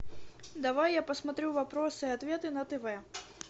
давай я посмотрю вопросы и ответы на тв